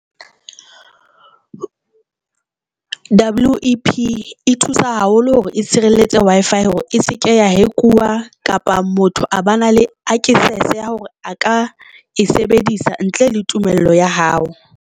WEP e thusa haholo hore e tshireletse Wi-Fi hore e seke ya hack-iwa kapa motho a ba na le access ya hore a ka e sebedisa ntle le tumello ya hao.